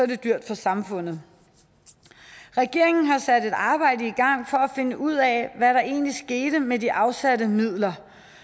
det dyrt for samfundet regeringen har sat et arbejde i gang for at finde ud af hvad der egentlig skete med de afsatte midler